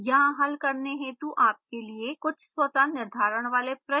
यहाँ हल करने हेतु आपके लिए कुछ स्वतः निर्धारण वाले प्रश्न हैं